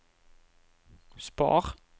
spar